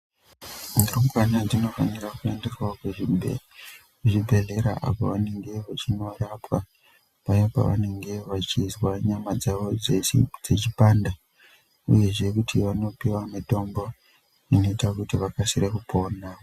Rumbwana dzinofanira kuendeswavo kuzvibhedhlera apo vanenge vachinorapwa. Paya pavanenge vachizwa nyama dzavo dzese dzichipanda, uyezve kuti vanopiva mutombo inoita kuti vakasire kupona.